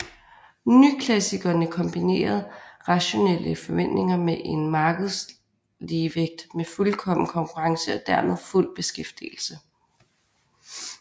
Nyklassikerne kombinerede rationelle forventninger med en markedsligevægt med fuldkommen konkurrence og dermed fuld beskæftigelse